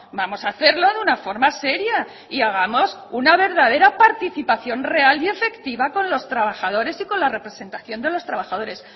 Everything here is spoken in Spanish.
vamos a hacerlo de una forma seria y hagamos una verdadera participación real y efectiva con los trabajadores y con la representación de los trabajadores